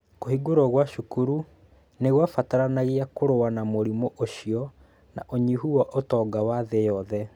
Kũhingwo kwa cukuru nĩ kwabataranagia kũrũa na mũrimũ ũcio na ũnyihu wa ũtonga wa thĩ yothe.